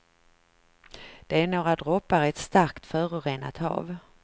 Det är några droppar i ett starkt förorenat hav.